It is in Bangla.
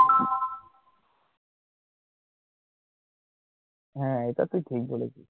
হ্যা এটা তো ঠিক বলেছিস!